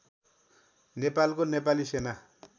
नेपालको नेपाली सेना